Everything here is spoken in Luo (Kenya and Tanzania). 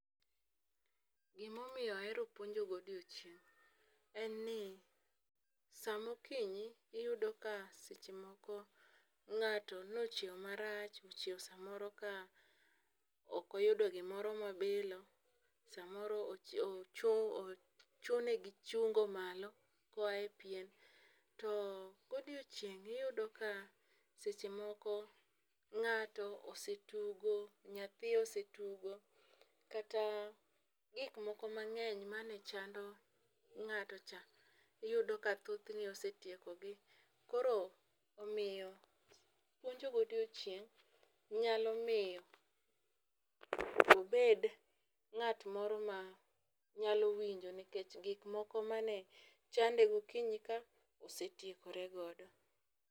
Gima omiyo ahero puonjo godiechieng' en ni, sa ma okinyi, iyudo ka seche moko, ngáto ne ochiewo marach, ochiewo samoro ka ok oyudo gimoro ma obilo, samoro ochune gi chungo malo, koae pien. To godiechieng' iyudo ka seche moko ngáto osetugo, nyathi osetugo, kata gik moko mangény mane chando ngáto cha iyudo ka thothne osetieko gi. Koro puonjo godiechieng' nyalo miyo obed ngát moro ma nyalo winjo, nikech gik moko mane chande gokinyi ka osetiekore godo.